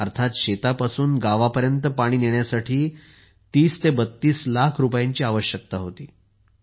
पण शेतापासून गावापर्यंत पाणी नेण्यासाठी 3032 लाख रुपयांची आवश्यकता होती